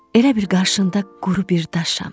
Elə bir qarşında quru bir daşam.